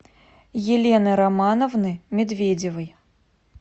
елены романовны медведевой